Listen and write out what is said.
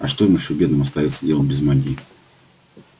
а что ещё им бедным остаётся делать без магии